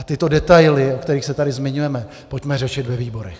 A tyto detaily, o kterých se tady zmiňujeme, pojďme řešit ve výborech.